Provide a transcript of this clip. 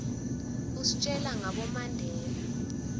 istjela ngabo mandela